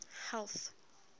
health